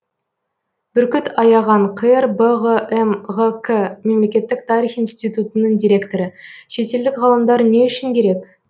бүркіт аяған қр бғм ғк мемлекеттік тарих институтының директоры шетелдік ғалымдар не үшін керек